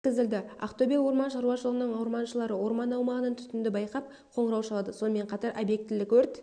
өткізілді ақтөбе орман шаруашылығының орманшылары орман аумағынан түтінді байқап қоңырау шалады сонымен қатар объектілік өрт